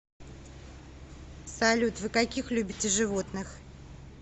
салют вы каких любите животных